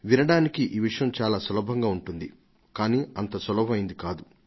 వినడానికి ఇది చాలా సులభంగా ఉన్నా కానీ వాస్తవంలో ఇది అంత సులభం కాదు